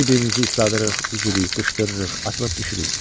Bir-birimizi isladırıq, üzürük, qışqırırıq, atılıb düşürük.